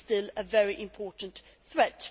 it is still a very important threat.